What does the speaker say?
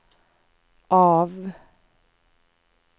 av